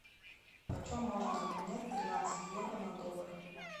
почем можно обменять тринадцать евро на доллары